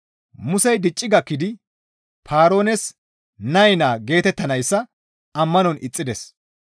Musey dicci gakkidi, «Paaroones nay naa» geetettanayssa ammanon ixxides.